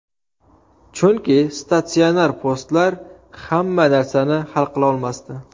Chunki statsionar postlar hamma narsani hal qilolmasdi.